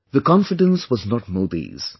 The confidence was not Modi's